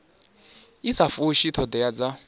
i sa fushi thodea dza